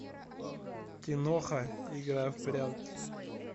киноха игра в прятки